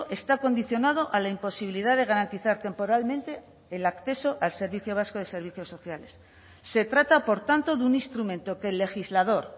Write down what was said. está condicionado a la imposibilidad de garantizar temporalmente el acceso al servicio vasco de servicios sociales se trata por tanto de un instrumento que el legislador